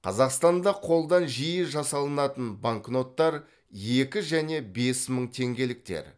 қазақстанда қолдан жиі жасалынатын банкноттар екі және бес мың теңгеліктер